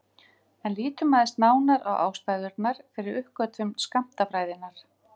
En lítum aðeins nánar á ástæðurnar fyrir uppgötvun skammtafræðinnar.